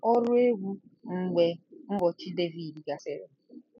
Ọrụ Egwu Mgbe Ụbọchị Devid gasịrị